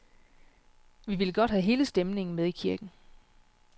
Vi ville godt have hele stemningen med i kirken.